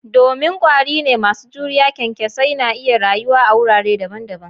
Domin kwari ne masu juriya, kyankyasai na iya rayuwa a wurare daban-daban.